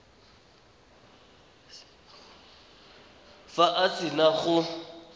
fa a se na go